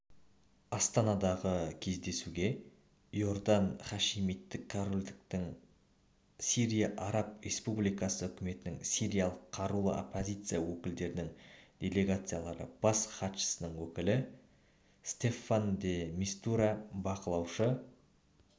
астанадағы кездесуге иордан хашимиттік корольдіктің сирия араб республикасы үкіметінің сириялық қарулы оппозиция өкілдерінің делегациялары бас хатшысының өкілі стаффан де мистура бақылаушы